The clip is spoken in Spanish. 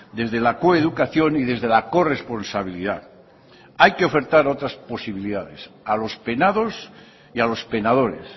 desde la coeducación y desde la corresponsabilidad hay que ofertar otras posibilidades a los penados y a los penadores